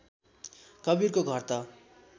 कवीरको घर त